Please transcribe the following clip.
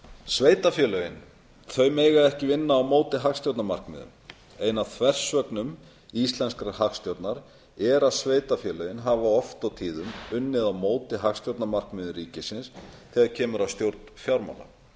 sveitarfélögin mega ekki vinna á móti hagstjórnarmarkmiðum ein af þversögnum íslenskrar hagstjórnar er að sveitarfélögin hafa oft og tíðum unnið á móti hagstjórnarmarkmiðum ríkisins þegar kemur að stjórn fjármála